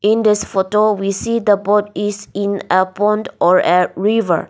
In this photo we see the boat is in a pond or in a river.